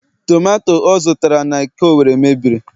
tomato ọ zụtara n'eke Owerri mebiri